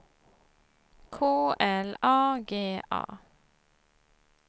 K L A G A